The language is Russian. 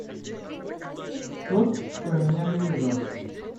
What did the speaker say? тот кто меня бережет